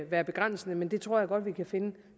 være begrænsende men det tror jeg godt vi kan finde